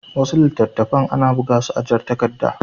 Wasu littattafan ana buga su a jar takarda.